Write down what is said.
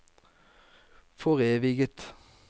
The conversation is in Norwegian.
foreviget